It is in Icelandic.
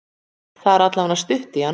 Það er allavega stutt í hann.